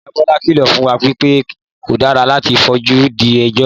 Ìyá Bọlá kìlọ̀ fún wa wí pé kò dára láti fojú di ejò